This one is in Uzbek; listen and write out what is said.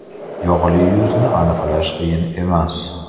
Yog‘li yuzni aniqlash qiyin emas.